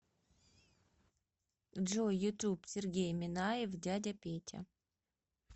джой ютуб сергей минаев дядя петя